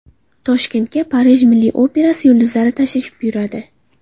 Toshkentga Parij milliy operasi yulduzlari tashrif buyuradi.